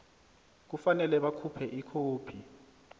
kufanele bakhuphe ikhophi